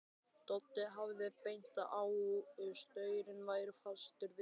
Doddi hafði bent á að staurinn væri fastur við jörðina.